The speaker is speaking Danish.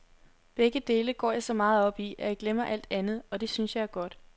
Begge dele går jeg så meget op i, at jeg glemmer alt andet, og det synes jeg er godt.